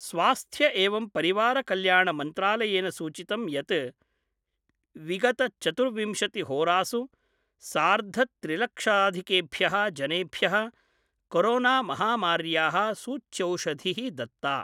स्वास्थ्य एवं परिवार कल्याण मन्त्रालयेन सूचितं यत् विगत चतुर्विंशतिहोरासु सार्धत्रिलक्षधिकेभ्यः जनेभ्य: कोरोनामहामार्याः सूच्यौषधिः दत्ता।